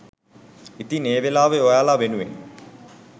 ඉතින් ඒ වෙලාවේ ඔයාලා වෙනුවෙන්